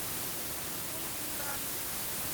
кунгура